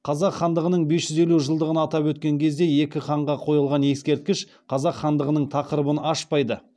қазақ хандығының бес жүз елу жылдығын атап өткен кезде екі ханға қойылған ескерткіш қазақ хандығының тақырыбын ашпайды